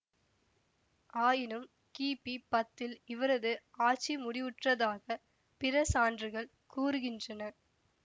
ஆயினும் கி பி பத்தில் இவரது ஆட்சி முடிவுற்றதாக பிற சான்றுகள் கூறுகின்றன